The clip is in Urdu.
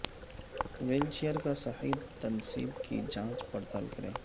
ویل چیئر کا صحیح تنصیب کی جانچ پڑتال کریں